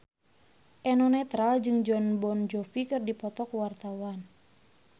Eno Netral jeung Jon Bon Jovi keur dipoto ku wartawan